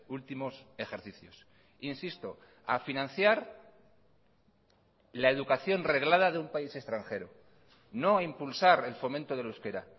últimos ejercicios insisto a financiar la educación reglada de un país extranjero no a impulsar el fomento del euskera